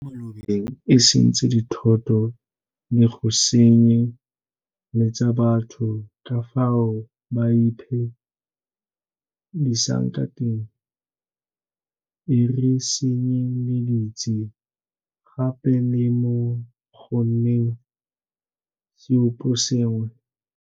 mo malobeng e sentse dithoto le go senye letsa batho ka fao ba iphe disang ka teng, e re senye leditse gape le mo go nneng seoposengwe.